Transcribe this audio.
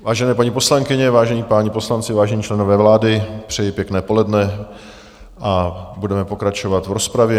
Vážené paní poslankyně, vážení páni poslanci, vážení členové vlády, přeji pěkné poledne a budeme pokračovat v rozpravě.